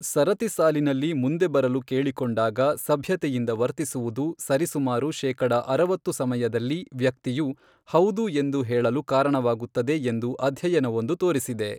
ಸರತಿ ಸಾಲಿನಲ್ಲಿ ಮುಂದೆಬರಲು ಕೇಳಿಕೊಂಡಾಗ ಸಭ್ಯತೆಯಿಂದ ವರ್ತಿಸುವುದು ಸರಿಸುಮಾರು ಶೇಕಡ ಅರವತ್ತು ಸಮಯದಲ್ಲಿ ವ್ಯಕ್ತಿಯು, ಹೌದು ಎಂದು ಹೇಳಲು ಕಾರಣವಾಗುತ್ತದೆ ಎಂದು ಅಧ್ಯಯನವೊಂದು ತೋರಿಸಿದೆ.